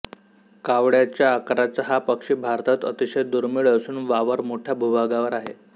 कावळ्याच्या आकाराचा हा पक्षी भारतात अतिशय दुर्मिळ असून वावर मोठ्या भूभागावर आहे